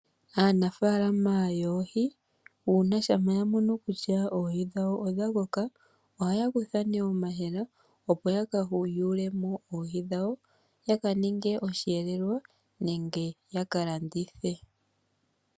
Aanafaalama yoohi, uuna shampa ya mono kutya oohi dhawo odha koka. Oha ya kutha nee omahela opo yaka yule mo oohi dhawo yaka ninge osheelelwa nenge ya ka landithe.